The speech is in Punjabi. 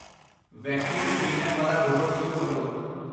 ਵੈਕਿਊਮ ਕਲੀਨਰ ਵਾਲਾ ਰੋਬੋਟ ਸ਼ੁਰੂ ਕਰੋ